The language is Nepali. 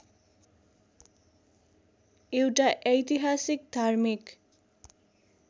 एउटा ऐतिहासिक धार्मिक